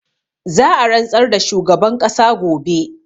Za a rantsar da shugaban ƙasa gobe